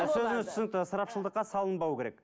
сөзіңіз түсінікті ысырапшылдыққа салынбау керек